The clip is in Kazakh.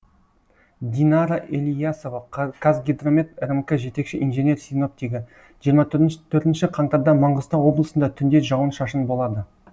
динара ілиясова қазгидромет рмк жетекші инженер синоптигі жиырма төртінші қаңтарда маңғыстау облысында түнде жауын шашын болады